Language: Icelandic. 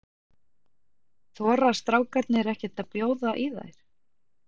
Þora strákarnir ekkert að bjóða í þær?